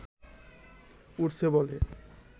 উড়ছে বলে